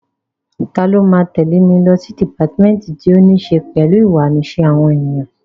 Ta ló máa tẹ̀lé mi lọ sí dìpátímẹ́ǹtì tí ó ní ṣe pẹ̀lú ìhùwàsí àwọn ènìyàn?